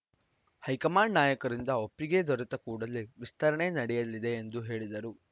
high command ನಾಯಕರಿಂದ ಒಪ್ಪಿಗೆ ದೊರೆತ ಕೂಡಲೇ ವಿಸ್ತರಣೆ ನಡೆಯಲಿದೆ ಎಂದು ಹೇಳಿದರು